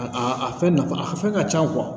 A a a fɛn nafa a fɛn ka ca